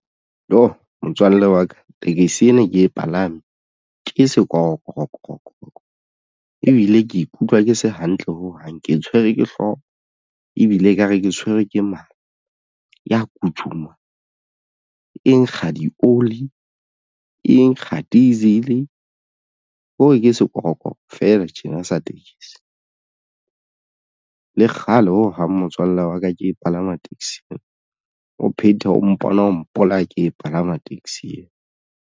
Iyoh! motswalle wa ka tekesi ene ke e palame ke sekorokoro ebile ke ikutlwa ke se hantle ho hang ke tshwerwe ke hlooho ebile ekare ke tshwere ke mala ya kutshuma e nkga di-oli e nkga diesel hore ke sekorokoro fela tjena sa tekesi le kgale ho hang motswalle wa ka ke e palama tekesi o phethe o mpona o mpolaya ke e palama taxi eo.